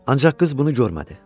Ancaq qız bunu görmədi.